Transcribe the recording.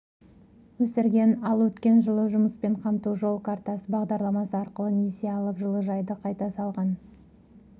өсірген ал өткен жылы жұмыспен қамту жол картасы бағдарламасы арқылы несие алып жылыжайды қайта салған